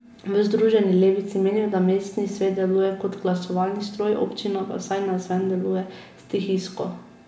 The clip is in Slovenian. V Združeni levici menijo, da mestni svet deluje kot glasovalni stroj, občina pa vsaj navzven deluje stihijsko.